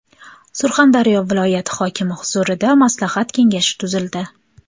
Surxondaryoda viloyat hokimi huzurida maslahat kengashi tuzildi.